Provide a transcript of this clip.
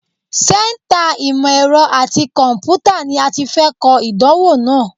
Sẹ́ńtà ìmọ̀ ẹ̀rọ àti kọ̀m̀pútà ni a ti fẹ́ kọ ìdánwò náà.